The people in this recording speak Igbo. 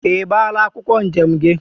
I gbala akwokwo njem gi?